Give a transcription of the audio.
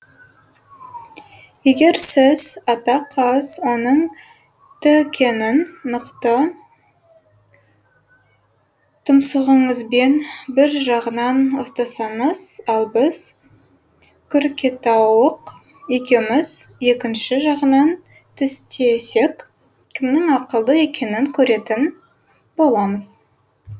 егер сіз ата қаз оның тікенін мықты тұмсығыңызбен бір жағынан ұстасаңыз ал біз күркетауық екеуміз екінші жағынан тістесек кімнің ақылды екенін көретін боламыз